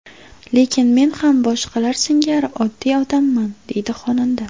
Lekin men ham boshqalar singari oddiy odamman”, deydi xonanda.